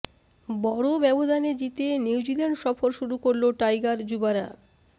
বড় ব্যবধানে জিতে নিউজিল্যান্ড সফর শুরু করল টাইগার যুবারা